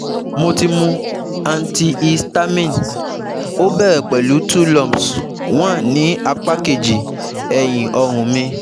Mo ti mu antihistamine, ó bẹ̀rẹ̀ pẹ̀lú two lumps one ní apá kejì ẹ̀yìn ọrùn mi